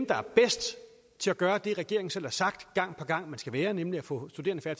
der er bedst til at gøre det regeringen selv har sagt gang på gang man skal nemlig at få studerende